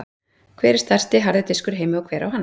Hver er stærsti harði diskur í heimi og hver á hann?